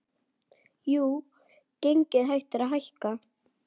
Jú, gengið hættir að hækka.